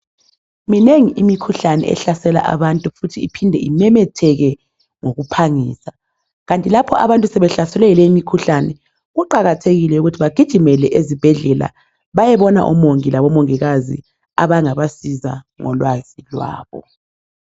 Minengi imikhuhlane ehlasela abantu futhi iphinde imemetheke ngokuphangisa kanti lapho abantu sebehlaselwe yileyimikhuhlane kuqakathekile ukuthi bagijimele ezibhedlela bayebona omongi labomongikazi abangabasiza ngolwazi lwabo.